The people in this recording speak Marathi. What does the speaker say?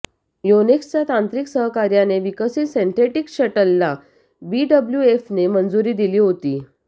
योनेक्सच्या तांत्रिक सहकार्याने विकसित सिन्थेटिक शटलला बीडब्ल्यूएफने मंजुरी दिली होती